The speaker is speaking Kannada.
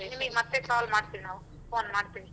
ನಿಮಿಗ್ ಮತ್ತೆ call ಮಾಡ್ತಿವಿ ನಾವು phone ಮಾಡ್ತಿವಿ.